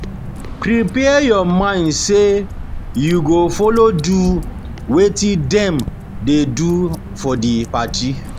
Prepare your mind say you go follow do wetin dem de do for di party